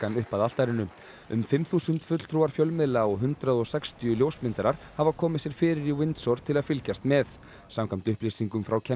upp að altarinu um fimm þúsund fulltrúar fjölmiðla og hundrað og sextíu ljósmyndarar hafa komið sér fyrir í Windsor til að fylgjast með samkvæmt upplýsingum frá